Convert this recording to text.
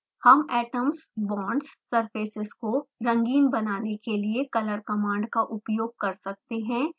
हम atoms bonds surfaces को रंगीन बनाने के लिए color command का उपयोग कर सकते हैं